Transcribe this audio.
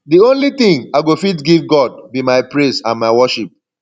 the only thing i go fit give god be my praise and my worship